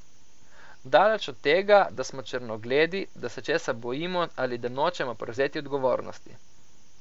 Daleč od tega, da smo črnogledi, da se česa bojimo ali da nočemo prevzeti odgovornosti.